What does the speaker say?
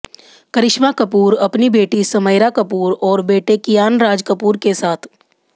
करिश्मा कपूर अपनी बेटी समयरा कपूर और बेटे कियान राज कपूर के साथ